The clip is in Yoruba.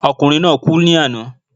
Okùnrin náà kú lànáà